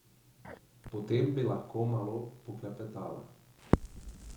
Potem bi lahko malo poklepetala.